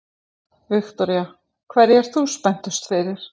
Viktoría: Hverju ert þú spenntust fyrir?